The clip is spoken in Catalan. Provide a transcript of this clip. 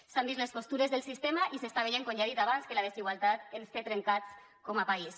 s’han vist les costures del sistema i s’està veient com ja he dit abans que la desigualtat ens té trencats com a país